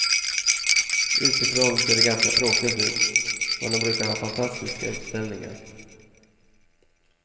Utifrån ser det ganska tråkigt ut, men de brukar ha fantastiska utställningar.